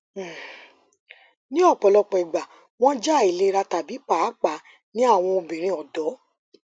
um ni ọpọlọpọ igba wọn jẹ ailera tabi paapaa ni awọn obinrin ọdọ